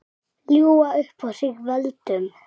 Ljúga upp á sig völdum?